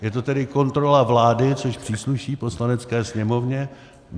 Je to tedy kontrola vlády, což přísluší Poslanecké sněmovně.